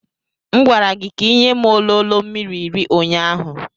M gwara gị ka ị nye m ololo mmiri iri ụnyaahụ.